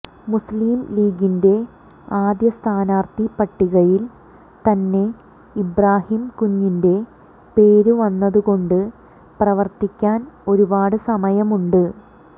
മുസ്ലിം ലീഗിന്റെ ആദ്യ സ്ഥാനാർത്ഥി പട്ടികയിൽ തന്നെ ഇബ്രാഹിംകുഞ്ഞിന്റെ പേരു വന്നതുകൊണ്ട് പ്രവർത്തിക്കാൻ ഒരുപാട് സമയമുണ്ട്